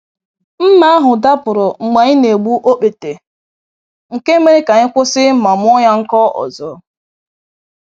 Mma ahụ dapụrụ mgbe anyị n'egbu okpete, nke mere ka anyị kwụsị ma mụọ ya nkọ ọzọ.